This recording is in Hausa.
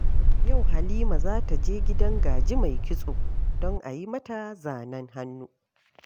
Yau Halima za ta je gidan Gaji mai kitso don a yi mata zanen hannu